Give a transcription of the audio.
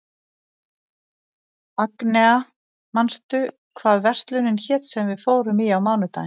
Agnea, manstu hvað verslunin hét sem við fórum í á mánudaginn?